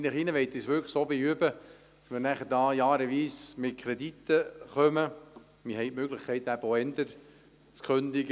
Ich bitte Sie, sich wirklich gut zu überlegen, ob es sinnvoll ist, wenn wir dem Grossen Rat immer wieder jedes Jahr Rat Kredite unterbreiten.